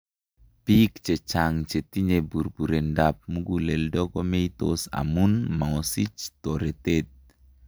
Biik chechang' chetinye burburendab muguleldo komeitos amun mosich toretet